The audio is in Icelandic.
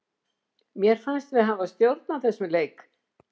Mér fannst við hafa stjórn á þessum leik.